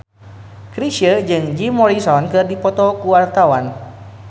Chrisye jeung Jim Morrison keur dipoto ku wartawan